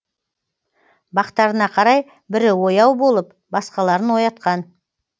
бақтарына қарай бірі ояу болып басқаларын оятқан